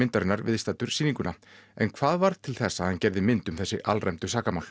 myndarinnar viðstaddur sýninguna en hvað varð til þess að hann gerði mynd um þessi alræmdu sakamál